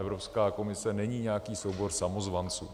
Evropská komise není nějaký soubor samozvanců.